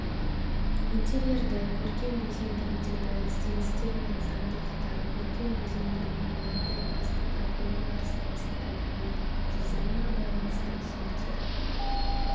интерьерді көркем безендірудегі ізденістер мен заңдылықтар көркем безендіру мынандай басты проблемалар саласында дамиды дизайнға байланысты түсініктер